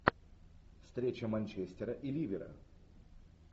встреча манчестера и ливера